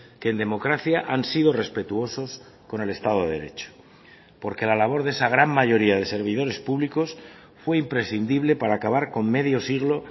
que en democracia han sido respetuosos con el estado de derecho porque la labor de esa gran mayoría de servidores públicos fue imprescindible para acabar con medio siglo